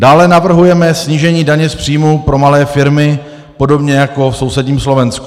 Dále navrhujeme snížení daně z příjmu pro malé firmy, podobně jako v sousedním Slovensku.